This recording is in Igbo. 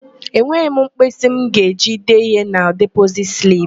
Enweghị m mkpịsị m ga-eji dee ihe na depozit slip.